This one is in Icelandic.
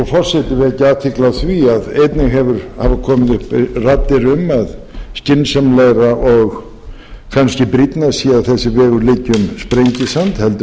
vekja athygli á því að einnig hafa komið upp raddir um að skynsamlegra og kannski brýnna sé að þessi vegur liggi um sprengisand heldur en